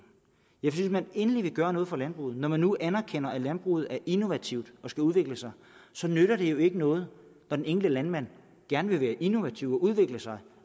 hvis man endelig vil gøre noget for landbruget når man nu anerkender at landbruget er innovativt og skal udvikle sig så nytter det jo ikke noget når den enkelte landmand gerne vil være innovativ og udvikle sig